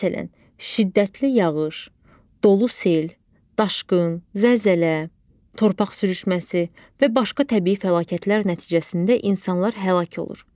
Məsələn, şiddətli yağış, dolu, sel, daşqın, zəlzələ, torpaq sürüşməsi və başqa təbii fəlakətlər nəticəsində insanlar həlak olur.